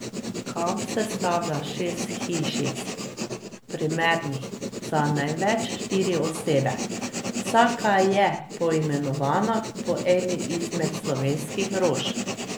Kamp sestavlja šest hišic, primernih za največ štiri osebe, vsaka je poimenovana po eni izmed slovenskih rož.